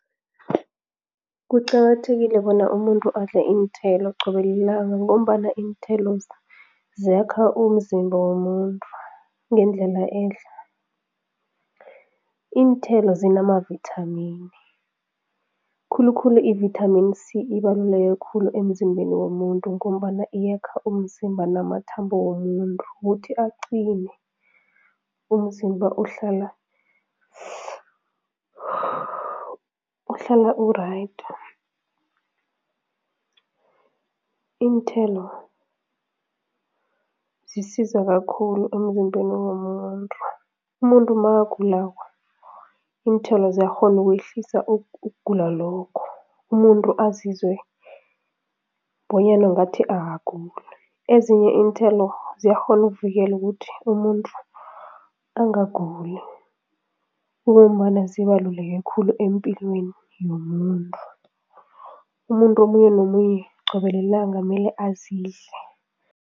Kuqakathekile bona umuntu adle iinthelo qobe lilanga ngombana iinthelo ziyakha umzimba womuntu ngendlela ehle. Iinthelo zinamavithamini, khulukhulu ivithamini C, ibaluleke khulu emzimbeni womuntu ngombana iyakha umzimba namathambo womuntu, ukuthi aqine, umzimba uhlala uhlala u-right. Iinthelo zisiza kakhulu emzimbeni womuntu, umuntu makagulako, iinthelo ziyakghona ukwehlisa ukugula lokho, umuntu azizwe bonyana ngathi akaguli. Ezinye iinthelo ziyakghona uvikela ukuthi umuntu angaguli kungombana zibaluleke khulu empilweni yomuntu, umuntu omunye nomunye qobe lilanga mele azidle.